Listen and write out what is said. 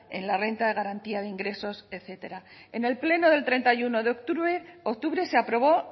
en la renta de garantía de ingresos etcétera en el pleno del treinta y uno de octubre se aprobó